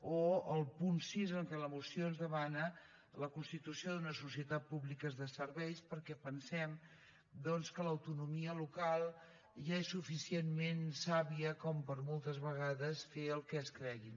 o el punt sis en què a la moció es demana la constitució d’unes societats públiques de serveis perquè pensem que l’autonomia local ja és sufi cientment sàvia per moltes vegades fer el que es cregui